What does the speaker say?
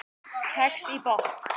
Kex í botn